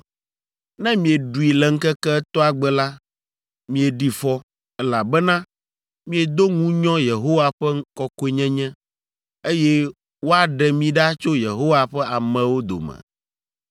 Ne mieɖui le ŋkeke etɔ̃a gbe la, mieɖi fɔ, elabena miedo ŋunyɔ Yehowa ƒe kɔkɔenyenye, eye woaɖe mi ɖa tso Yehowa ƒe amewo dome.